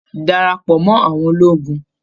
Darapọ̀ mọ́ àwọn ológun!